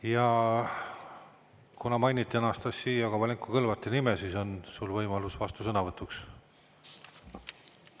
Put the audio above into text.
Ja kuna mainiti Anastassia Kovalenko-Kõlvarti nime, siis on sul võimalus vastusõnavõtuks.